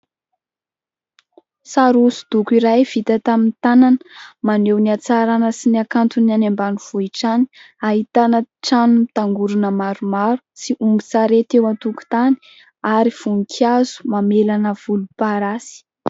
Sary hosodoko iray vita tamin'ny tanana, maneho ny hatsaràna sy ny hakanton'ny any ambanivohitra any. Ahitana trano mitangorona maromaro sy ombin-tsarety eo an-tokotany ary voninkazo mamelana volomparasy.